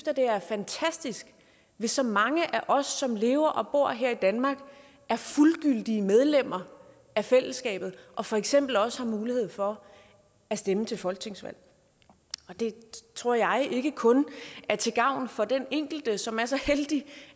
at det er fantastisk hvis så mange af os som lever og bor her i danmark er fuldgyldige medlemmer af fællesskabet og for eksempel også har mulighed for at stemme til folketingsvalg det tror jeg ikke kun er til gavn for den enkelte som er så heldig